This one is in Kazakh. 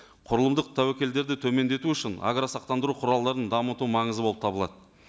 құрылымдық тәуекелдерді төмендету үшін агросақтандыру құралдарын дамыту маңызды болып табылады